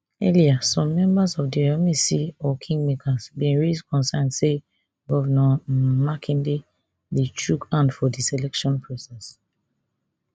earlier some members of di oyomesi or kingmakers bin raise concern say govnor um makinde dey chook hand for di selection process